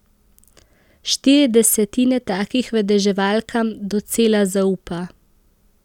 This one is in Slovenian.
Štiri desetine takih vedeževalkam docela zaupa.